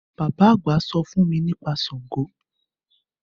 Bàbá àgbà sọ fún mi nípa Sàngó.